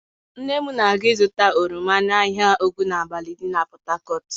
Nne m na-aga ịzụta oroma n'ahịa Ogunabali dị na Port Harcourt.